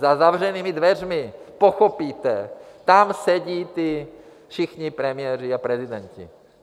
Za zavřenými dveřmi pochopíte, tam sedí ti všichni premiéři a prezidenti.